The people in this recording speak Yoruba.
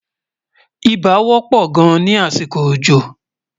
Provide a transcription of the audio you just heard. ibà wò pò gáàn ní àsìkò òjò